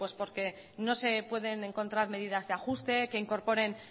pues porque no se pueden encontrar medidas de ajuste que incorporen